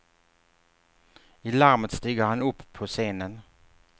I larmet stiger han upp på scenen.